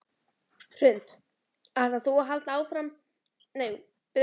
Hrund: Ætlar þú að halda ótrauð áfram að blogga?